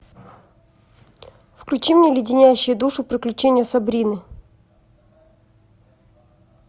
включи мне леденящие душу приключения сабрины